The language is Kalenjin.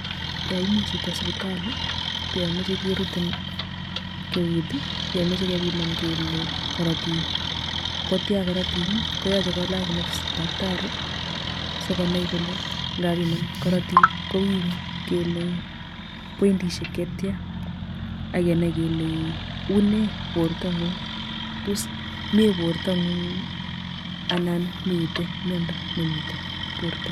Yoimi chito sipitali koyomeche kerutin keut yomeche kebiman kele korotik kotya koritik[ii] koyache kolach gloves taktari sikonai kole ngabiman korotik kowiru kele poindisiek chetya akenai kele unee bortongumg tos mie bortongung ana mitei miondo nemite borto.